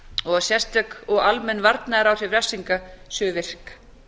og að sérstök og almenn varnaðaráhrif refsinga séu virk